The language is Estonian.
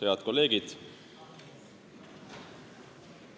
Head kolleegid!